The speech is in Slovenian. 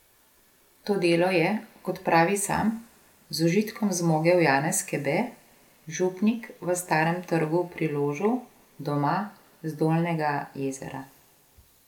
To delo je, kot pravi sam, z užitkom zmogel Janez Kebe, župnik v Starem trgu pri Ložu, doma z Dolnjega Jezera.